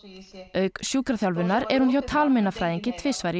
auk sjúkraþjálfunar er hún hjá talmeinafræðingi tvisvar í